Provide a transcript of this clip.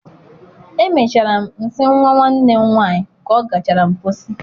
Emechara m nsi nwa nwanne m nwanyị ka ọ gachara mposi.